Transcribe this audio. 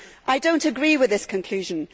I do not agree with this conclusion.